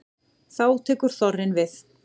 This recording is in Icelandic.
Þá tekur þorrinn við.